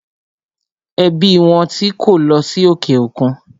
Ẹbí wọn tí kó lọ sí òkè òkun.